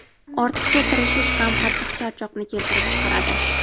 Ortiqcha tirishish ham qattiq charchoqni keltirib chiqaradi.